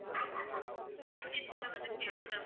எவ்ளோ days ல வந்து சேரும் sir